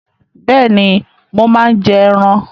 Bẹ́ẹ̀ni, mo máa ń jẹ ẹran